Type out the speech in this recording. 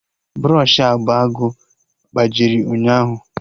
Brọshị agba agụụ gbajiri ụnyaahụ